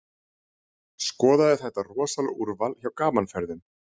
Skoðaðu þetta rosalega úrval hjá Gaman Ferðum.